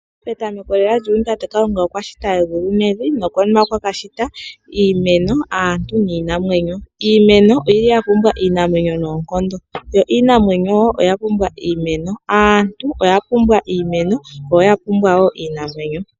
Petameko lela lyuuyuni tate Kalunga okwa shita egulu nevi nokonima okwa ka shita iimeno, aantu niinamwenyo. Iimeno oya pumbwa iinamwenyo noonkondo, yo iinamwenyo wo oya pumbwa iimeno. Aantu oya pumbwa iimeno yo ya pumbwa wo iinamwenyo.